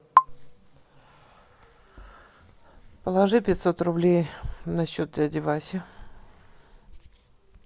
положи пятьсот рублей на счет дяди васи